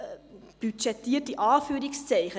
Budgetiert – in Anführungszeichen.